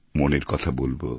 মনের কথা বলবো